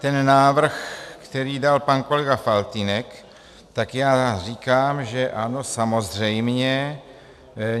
Ten návrh, který dal pan kolega Faltýnek, tak já říkám, že ano, samozřejmě.